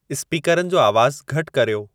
स्पीकरनि जो आवाज़ु घटि कर्यो